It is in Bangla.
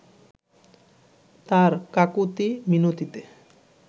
তার কাকুতি মিনতিতে